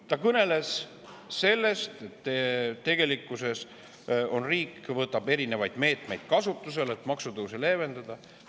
Ta kõneles sellest, et riik võtab kasutusele erinevaid meetmeid, et maksutõuse leevendada.